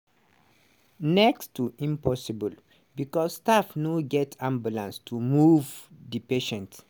"next to impossible" becos staff no get ambulances to move di patients.